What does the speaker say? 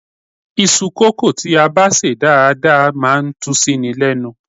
Iṣu kókò tí a bá sè dáadáa máa ń tú síni lẹ́nu.